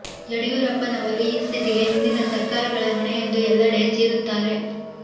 ಯಡಿಯೂರಪ್ಪನವರು ಈ ಸ್ಥಿತಿಗೆ ಹಿಂದಿನ ಸರ್ಕಾರಗಳೇ ಹೊಣೆ ಎಂದು ಎಲ್ಲಡೆ ಚೀರುತ್ತಾರೆ